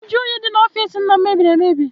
Nju oyi dị n'ọfịịsi nna m mebiri emebi.